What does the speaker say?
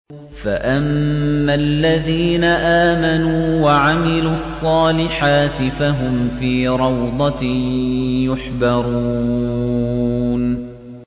فَأَمَّا الَّذِينَ آمَنُوا وَعَمِلُوا الصَّالِحَاتِ فَهُمْ فِي رَوْضَةٍ يُحْبَرُونَ